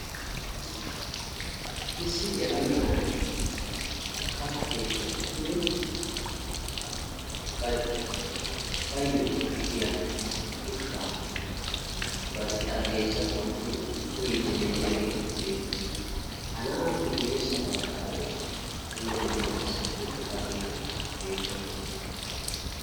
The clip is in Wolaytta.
Issi yelaga na'ay katta keettan uttidi baayo koshshiyaa ushsha bari xarapheeza bollan uttidi uyyidi de'iyaage beettees. ha na'appe guyyeessa baggara dumma dumma asati uttidaageeti beettoosona.